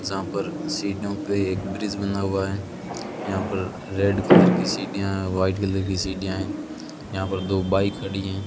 जहां पर सित डाउन पे एक ब्रिज बना हुआ है यहां पर रेड कलर की सीढ़ियां व्हाइट कलर की सीढ़ियां हैं यहां पर दो बाइक खड़ी हैं।